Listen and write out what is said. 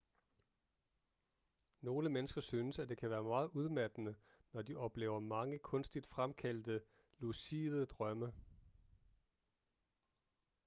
nogle mennesker synes at det kan være meget udmattende når de oplever mange kunstigt fremkaldte lucide drømme